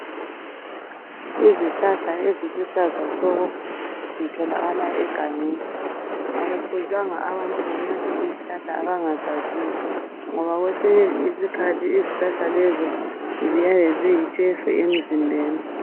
Izihlahla eziluhlaza tshoko zitholakala egangeni akufuzanga abantu benathe izihlahla abangazaziyo ngoba kwesinye isikhathi izihlahla lezo ziyabe ziyitshefu emzimbeni.